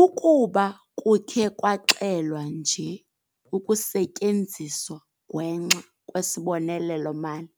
"Ukuba kukhe kwaxelwa nje ukusetyenziswa ngwenxa kwesibonelelo-mali,